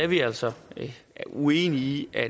vi er altså uenige i at